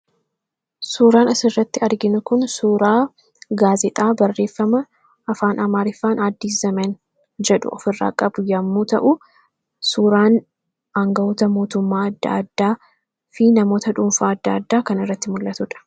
Suuraan as irratti arginu kun suuraa gaazexaa barreeffama afaan amaariffaan addiis zaman jedhu of irraa qabu yommuu ta'u suuraan aanga'oota mootummaa adda addaa fi namoota dhuunfaa adda addaa kana irratti mul'atuudha.